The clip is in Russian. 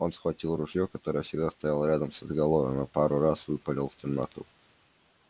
он схватил ружье которое всегда стояло рядом с изголовьем и пару раз выпалил в темноту